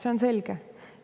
See on selge.